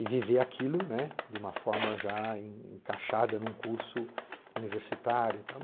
e viver aquilo, né, de uma forma já en encaixada num curso universitário e tal.